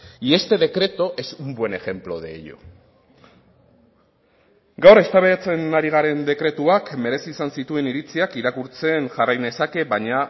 y este decreto es un buen ejemplo de ello gaur eztabaidatzen ari garen dekretuak merezi izan zituen iritziak irakurtzen jarrai nezake baina